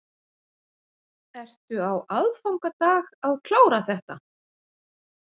Ertu á aðfangadag að klára þetta?